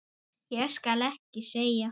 Ég skal ekki segja.